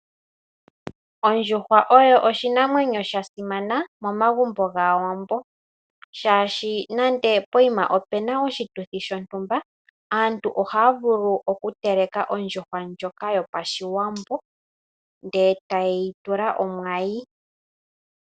Ondjuhwa oyo oshinamwenyo sha simana momagumbo gAawambo, shaashi nande ope na oshituthi shontumba, aantu ohaya vulu okuteleka ondjuhwa ndjoka yo pAshiwambo ndele taye yi tula omwayi.